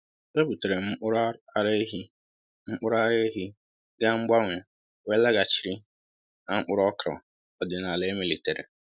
Ebutere m mkpụrụ ara ehi mkpụrụ ara ehi gaa mgbanwe wee laghachiri na mkpụrụ okra ọdịnala emelitere